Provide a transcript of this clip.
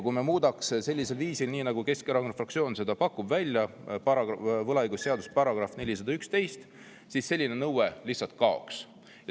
Kui me muudaks võlaõigusseaduse § 411 sellisel viisil, nagu Keskerakond välja pakub, siis selline nõue lihtsalt kaoks.